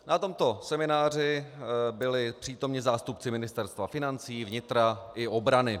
Na tomto semináři byli přítomni zástupci ministerstva financí, vnitra i obrany.